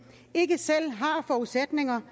ikke selv har forudsætninger